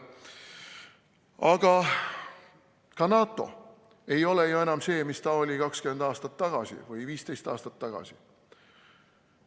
Aga ka NATO ei ole ju enam see, mis ta oli 20 või 15 aastat tagasi.